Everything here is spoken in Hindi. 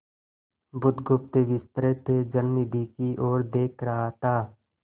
बुधगुप्त विस्तृत जलनिधि की ओर देख रहा था